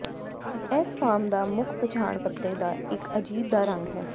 ਇਸ ਫਾਰਮ ਦਾ ਮੁੱਖ ਪਛਾਣ ਪੱਤੇ ਦਾ ਇੱਕ ਅਜੀਬ ਦਾ ਰੰਗ ਹੈ